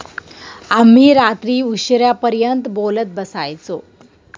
आम्ही रात्री उशिरापर्यंत बोलत बसायचो.